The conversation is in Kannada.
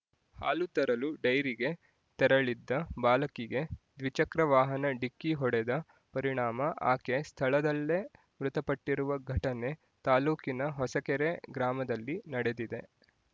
ಹಾಲು ತರಲು ಡೈರಿಗೆ ತೆರಳಿದ್ದ ಬಾಲಕಿಗೆ ದ್ವಿಚಕ್ರ ವಾಹನ ಡಿಕ್ಕಿ ಹೊಡೆದ ಪರಿಣಾಮ ಆಕೆ ಸ್ಥಳದಲ್ಲೇ ಮೃತಪಟ್ಟಿರುವ ಘಟನೆ ತಾಲ್ಲೂಕಿನ ಹೊಸಕೆರೆ ಗ್ರಾಮದಲ್ಲಿ ನಡೆದಿದೆ